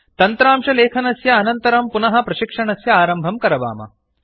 तन्त्रांशलेखनस्य अनन्तरं पुनः प्रशिक्षणस्य आरम्भं करवाम